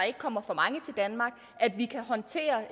ikke kommer for mange til danmark og at vi kan håndtere